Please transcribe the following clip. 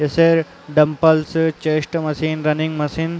जैसे dumbbells chest machine running machine --